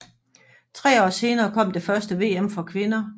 Tre år senere kom det første VM for kvinder